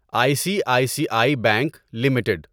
I C I C I bank limited